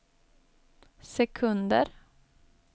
sekunder